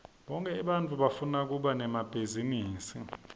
bonkhe ebantfu bafuna kuba nemabhizinisi